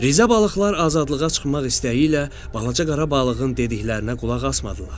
Rizə balıqlar azadlığa çıxmaq istəyi ilə balaca qara balığın dediklərinə qulaq asmadılar.